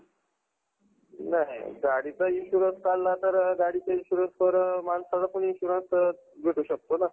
नाही गाडीचा insurance काढला तर गाडीचा insurance बरोबर माणसाचा insurance पण भेटू शकतो ना